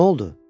Noldu?